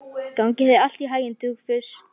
Gangi þér allt í haginn, Dufgus.